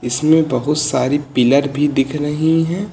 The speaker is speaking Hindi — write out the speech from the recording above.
इसमें बहुत सारी पिलर भी दिख रही हैं।